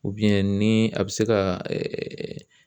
ni a bɛ se ka